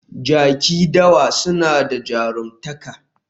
Jaki dawa suna da jaruntaka